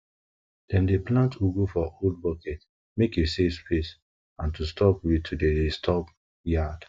dem dey plant ugu for old bucket mek e save space and stop weed to dey disturb to dey disturb yard